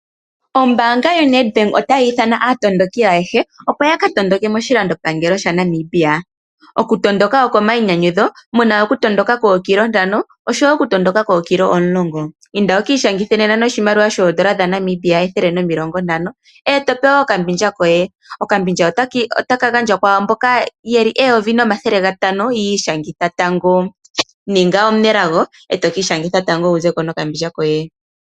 Ombaanga yoNedbank otayi ithana aatondoki ayehe, opo ya ka tondoke moshilandopangelo shaNamibia. Okutondoka oko mainyanyudho. Omu na okutondoka kookilometa ntano noshowo okutondoka kookilometa omulongo. Inda wu ka ishangithe nena noshimaliwa shoN$ 150, e to pewa okambindja koye. Okambindja ota ka gandjwa kwaamboka taya ishangitha tango ye li 1500. Ninga omunelago e to ka ishangitha tango wu ze ko nokambindja koye.